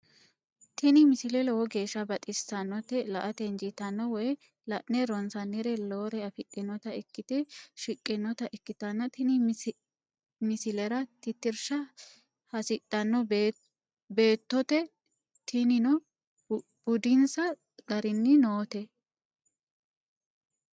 tini misile lowo geeshsha baxissannote la"ate injiitanno woy la'ne ronsannire lowore afidhinota ikkite shiqqinota ikkitanna tini misilera tittirsha hasidhanno beettote tinino budinsa garinni noote.